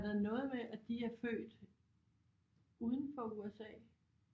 Er der noget med at de er født udenfor USA